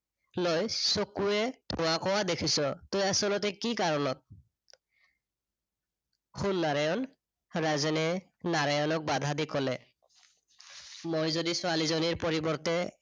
গৈ চকুৱে ধোঁৱা-কোঁৱা দেখিছ তই আচলতে কি কাৰনত শুন নাৰায়ণ, ৰাজেনে নাৰায়ণক বাধা দি কলে। মই যদি ছোৱালীজনীৰ পৰিৱৰ্তে